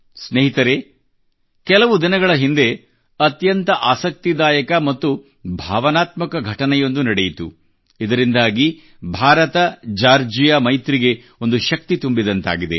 ಸ್ನೇಹಿತರೇ ಕೆಲವು ದಿನಗಳ ಹಿಂದೆ ಅತ್ಯಂತ ಆಸಕ್ತಿದಾಯಕ ಮತ್ತು ಭಾವನಾತ್ಮಕ ಘಟನೆಯೊಂದು ನಡೆಯಿತು ಇದರಿಂದಾಗಿ ಭಾರತಜಾರ್ಜಿಯಾ ಮೈತ್ರಿಗೆ ಒಂದು ಶಕ್ತಿ ತುಂಬಿದಂತಾಗಿದೆ